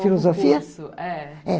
Filosofia? O curso, é